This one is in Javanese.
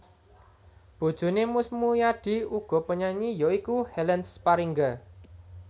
Bojoné Mus Muyadi uga penyanyi ya iku Helen Sparingga